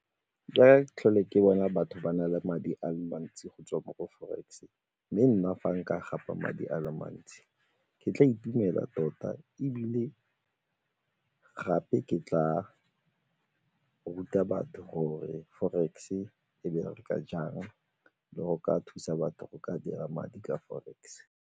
Ka ga tlhole ke bona batho ba na le madi a le mantsi go tswa mo forex mme nna fa nka gapa madi a le mantsi ke tla itumela tota ebile gape ke tla ruta batho gore forex-e e bereka jang le go ka thusa batho go ka dira madi ka forex.